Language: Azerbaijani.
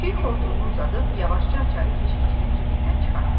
Fil xortumunu uzadıb yavaşca açarı keşikçinin cibindən çıxartdı.